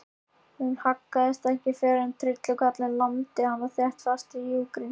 Hún haggaðist ekki fyrr en trillukarlinn lamdi þéttingsfast í júgrin.